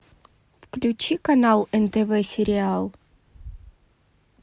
включи канал нтв сериал